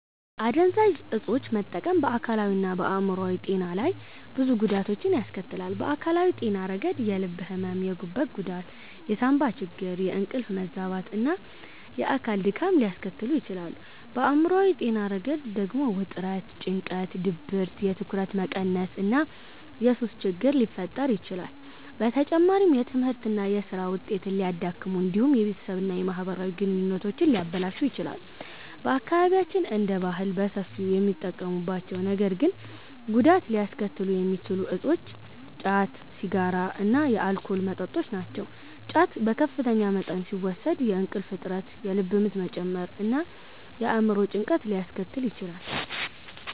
አደንዛዥ ዕፆችን መጠቀም በአካላዊና በአእምሯዊ ጤና ላይ ብዙ ጉዳቶችን ያስከትላል። በአካላዊ ጤና ረገድ የልብ ሕመም፣ የጉበት ጉዳት፣ የሳንባ ችግር፣ የእንቅልፍ መዛባት እና የአካል ድካም ሊያስከትሉ ይችላሉ። በአእምሯዊ ጤና ረገድ ደግሞ ውጥረት፣ ጭንቀት፣ ድብርት፣ የትኩረት መቀነስ እና የሱስ ችግር ሊፈጠር ይችላል። በተጨማሪም የትምህርትና የሥራ ውጤትን ሊያዳክሙ እንዲሁም የቤተሰብና የማህበራዊ ግንኙነቶችን ሊያበላሹ ይችላሉ። በአካባቢያችን እንደ ባህል በሰፊው የሚጠቀሙባቸው ነገር ግን ጉዳት ሊያስከትሉ የሚችሉ እፆች ጫት፣ ሲጋራ እና የአልኮል መጠጦች ናቸው። ጫት በከፍተኛ መጠን ሲወሰድ የእንቅልፍ እጥረት፣ የልብ ምት መጨመር እና የአእምሮ ጭንቀት ሊያስከትል ይችላል።